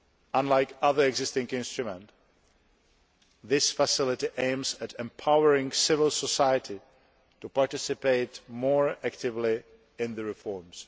Unlike other existing instruments, this facility aims at empowering civil society to participate more actively in the reforms.